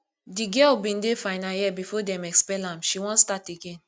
di girl bin dey final year before dem expel am she wan start again